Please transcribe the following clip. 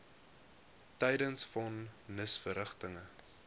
tydens von nisverrigtinge